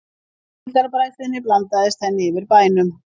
Síldarbræðslunni blandaðist henni yfir bænum.